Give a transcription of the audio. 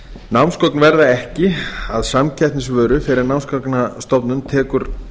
námsgögn verða ekki að samkeppnisvöru fyrr en námsgagnastofnun tekur